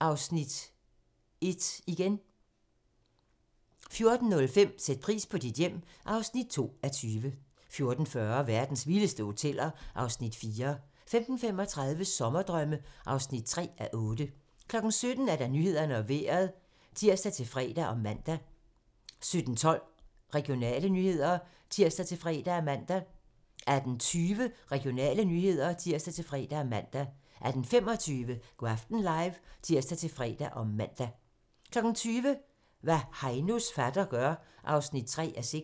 (Afs. 1) 14:05: Sæt pris på dit hjem (2:20) 14:40: Verdens vildeste hoteller (Afs. 4) 15:35: Sommerdrømme (3:8) 17:00: Nyhederne og Vejret (tir-fre og man) 17:12: Regionale nyheder (tir-fre og man) 18:20: Regionale nyheder (tir-fre og man) 18:25: Go' aften live (tir-fre og man) 20:00: Hvad Heinos fatter gør (3:6)